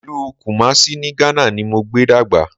Ìlú Kùmásí ní Ghana ni mo gbé dàgbà